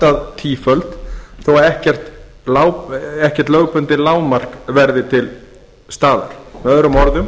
að tíföld þó að ekkert lögbundið lágmark verði til staðar með öðrum orðum